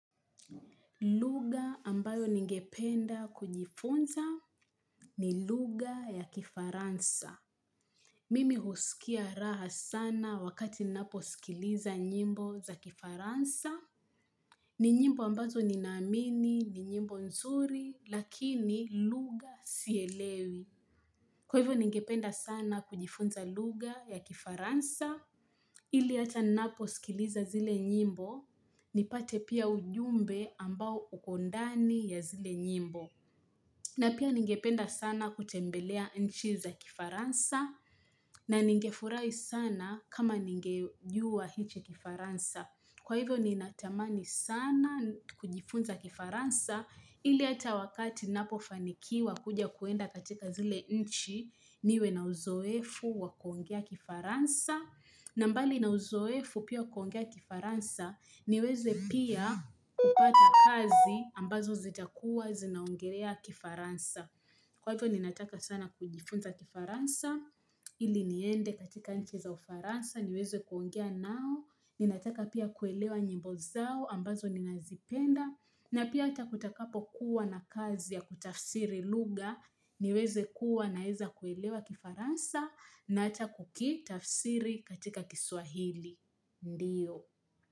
Lugha ambayo ningependa kujifunza ni luga ya kifaransa. Mimi husikia raha sana wakati ninaposikiliza nyimbo za kifaransa. Ni nyimbo ambazo ni naamini ni nyimbo nzuri lakini lugha sielewi. Kwa hivyo ningependa sana kujifunza lugha ya kifaransa. Ili hata ninaposikiliza zile nyimbo nipate pia ujumbe ambao uko ndani ya zile nyimbo na pia ningependa sana kutembelea nchi za kifaransa na ningefurahi sana kama ningejua hiche kifaransa kwa hivyo ninatamani sana kujifunza kifaransa ili hata wakati ninapofanikiwa kuja kuenda katika zile nchi niwe na uzoefu wa kuongea kifaransa na mbali na uzoefu pia kuongea kifaransa, niweze pia kupata kazi ambazo zitakuwa zinaongerea kifaransa. Kwa hivyo ninataka sana kujifunza kifaransa, ili niende katika nchi za ufaransa, niweze kuongea nao, ninataka pia kuelewa nyimbo zao ambazo ninazipenda. Na pia hata kutakapokuwa na kazi ya kutafsiri lugha niweze kuwa naeza kuelewa kifaransa na hata kukitafsiri katika kiswahili. Ndiyo.